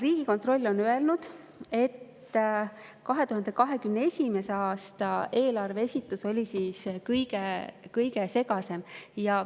Riigikontroll on öelnud, et 2021. aasta eelarve esitus oli kõige segasem.